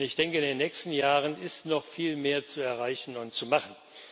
Ich denke, in den nächsten Jahren ist noch viel mehr zu erreichen und zu machen.